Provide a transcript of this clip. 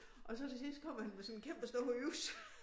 Og så til sidst kommer han med sådan en kæmpe stor økse